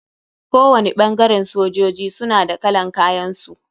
Kowani ɓangaren sojoji suna da kalan kayan su.